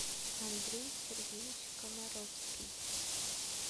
андрей сергеевич комаровский